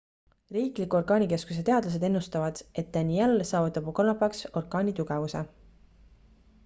riikliku orkaanikeskuse teadlased ennustavad et danielle saavutab kolmapäevaks orkaani tugevuse